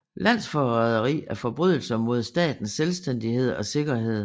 Landsforræderi er forbrydelser mod statens selvstændighed og sikkerhed